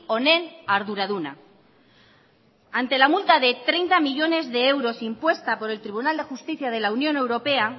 honen arduraduna ante la multa de treinta millónes de euros impuesta por el tribunal de justicia de la unión europea